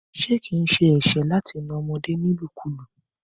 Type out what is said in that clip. Ṣé kín sẹ ẹsẹ láti nà ọmọdé nílu kú lu?